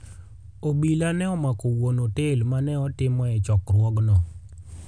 obila ne omako wuon otel ma ne itimoe chokruogno.